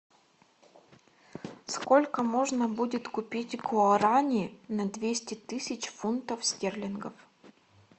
сколько можно будет купить гуарани на двести тысяч фунтов стерлингов